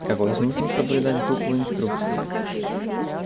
какой смысл соблюдать букву инструкции